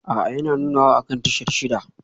A'a yana nunawa akan tashar shida